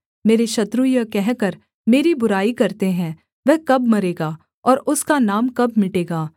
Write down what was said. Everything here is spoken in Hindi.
मेरे शत्रु यह कहकर मेरी बुराई करते हैं वह कब मरेगा और उसका नाम कब मिटेगा